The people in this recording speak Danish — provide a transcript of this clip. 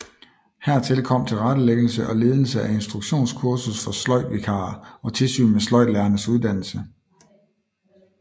Hertil kom tilrettelæggelse og ledelse af instruktionskursus for sløjdvikarer og tilsyn med sløjdlærernes uddannelse